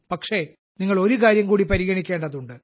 പക്ഷേ നിങ്ങൾ ഒരു കാര്യം കൂടി പരിഗണിക്കേണ്ടതുണ്ട്